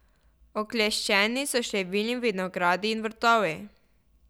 Okleščeni so številni vinogradi in vrtovi.